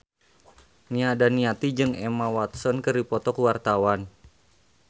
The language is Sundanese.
Nia Daniati jeung Emma Watson keur dipoto ku wartawan